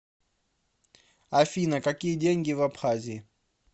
афина какие деньги в абхазии